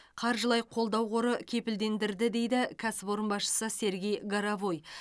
қаржылай қолдау қоры кепілдендірді дейді кәсіпорын басшысы сергей горовой